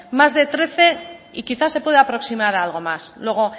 más de trece y quizá se pueda aproximar a algo más luego